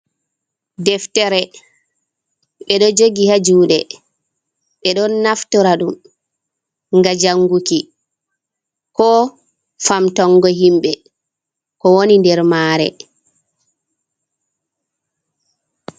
Deftere ɓe ɗo jogi ha juɗe ɓe ɗon naftora ɗum ga janguki ko famtongo himɓɓe ko woni nder mare.